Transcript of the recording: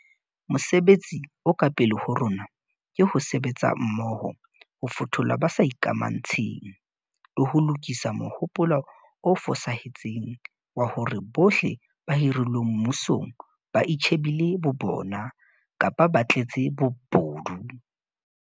Mosebetsi o ka pele ho rona ke ho sebetsa mmoho ho fothola ba sa ikamantshe ng, le ho lokisa mohopolo o fosahetseng wa hore bohle ba hirilweng mmusong ba itjhe bile bo bona kapa ba tletse bobodu.